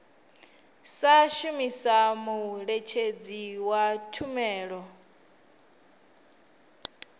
sa shumisa muṋetshedzi wa tshumelo